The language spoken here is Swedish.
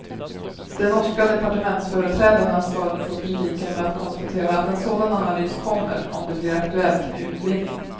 De norska departementsföreträdarna svarade på kritiken med att konstatera att en sådan analys kommer, om det blir aktuellt med utvinning.